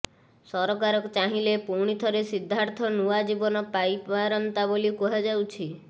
ସରକାର ଚାହିଁଲେ ପୁଣିଥରେ ସିଦ୍ଧାର୍ଥ ନୂଆ ଜୀବନ ପାଇବାରନ୍ତା ବୋଲି କୁହାଯାଉଛି